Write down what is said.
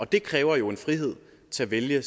det kræver jo en frihed til at vælge